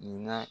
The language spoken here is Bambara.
Nin na